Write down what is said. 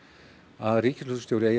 að ríkislögreglustjóri eigi að